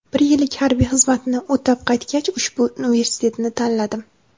Bir yillik harbiy xizmatni o‘tab qaytgach, ushbu universitetni tanladim.